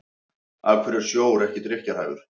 af hverju er sjór ekki drykkjarhæfur